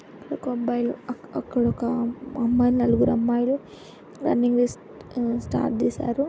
ఒక అబ్బాయిలు అక్--అక్కడొక అమ్మాయిలు నల్లుగురు అమ్మాయిలు రన్నింగ్ రేస్ ఉమ్ స్టార్ట్ చేసారు.